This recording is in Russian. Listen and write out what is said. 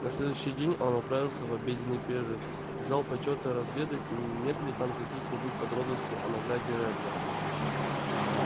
на следующий день он отправился в обеденный перерыв в зал почёта разведать нет ли там каких-нибудь подробностей о награде реддла